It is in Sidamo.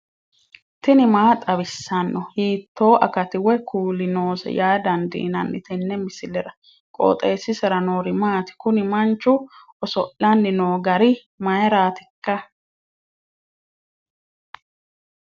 tini maa xawissanno ? hiitto akati woy kuuli noose yaa dandiinanni tenne misilera? qooxeessisera noori maati? kuni mancu oso'lanni noo gari mayraatikka